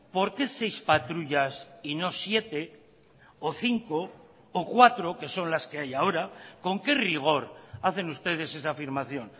por qué seis patrullas y no siete o cinco o cuatro que son las que hay ahora con qué rigor hacen ustedes esa afirmación